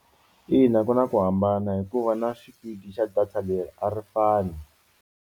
Ina ku na ku hambana hikuva na xipidi xa data leri a ri fani.